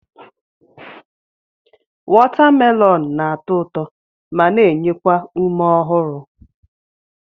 Watamelonụ na-atọ ụtọ ma na-enye ume ọhụrụ.